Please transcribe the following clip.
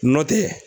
Nɔtɛ